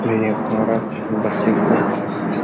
एक औरत बच्चे को --